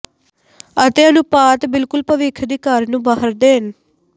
ਅਤੇ ਅਨੁਪਾਤ ਬਿਲਕੁਲ ਭਵਿੱਖ ਦੀ ਕਾਰ ਨੂੰ ਬਾਹਰ ਦੇਣ